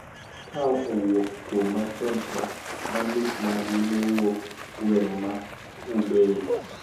Ka owuok kuom machon cha ma nus margi ne wuok gweng` ma Hubei